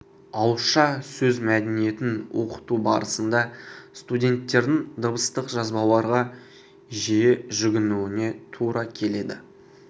ауызша сөз мәдениетін оқыту барысында студенттердің дыбыстық жазбаларға жиі жүгінуіне тура келеді